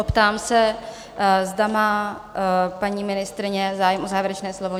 Optám se, zda má paní ministryně zájem o závěrečné slovo?